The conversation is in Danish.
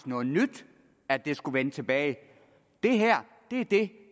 noget nyt at det skulle vende tilbage det her er det